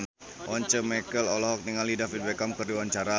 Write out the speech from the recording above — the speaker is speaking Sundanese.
Once Mekel olohok ningali David Beckham keur diwawancara